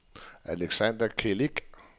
Alexander Celik